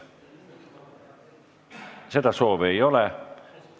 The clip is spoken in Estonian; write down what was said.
Seda soovi ei ole.